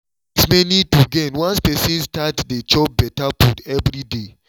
things many to gain once person start dey chop better food every day